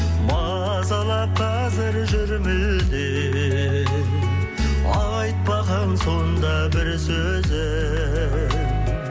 мазалап қазір жүр мүлде айтпаған сонда бір сөзім